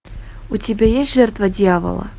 у тебя есть жертва дьявола